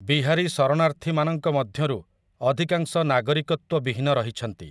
ବିହାରୀ ଶରଣାର୍ଥୀମାନଙ୍କ ମଧ୍ୟରୁ ଅଧିକାଂଶ ନାଗରିକତ୍ୱବିହୀନ ରହିଛନ୍ତି ।